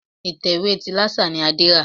Ìtẹ̀wé ti Lásà ni Adé rà.